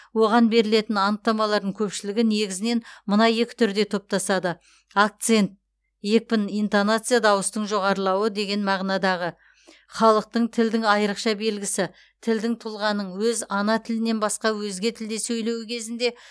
оған берілетін анықтамалардың көпшілігі негізінен мына екі түрде топтасады акцент екпін интонация дауыстың жоғарлауы деген мағынадағы халықтың тілдің айырықша белгісі тілдің тұлғаның өз ана тілінен басқа өзге тілде сөйлеуі кезінде